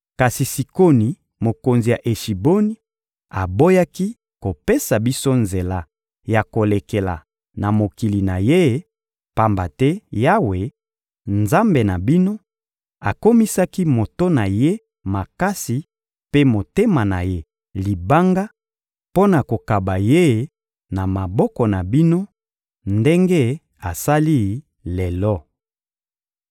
Kasi Sikoni, mokonzi ya Eshiboni, aboyaki kopesa biso nzela ya kolekela na mokili na ye, pamba te Yawe, Nzambe na bino, akomisaki moto na ye makasi mpe motema na ye libanga, mpo na kokaba ye na maboko na bino ndenge asali lelo.